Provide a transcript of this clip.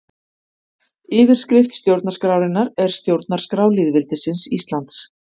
Yfirskrift stjórnarskrárinnar er Stjórnarskrá lýðveldisins Íslands.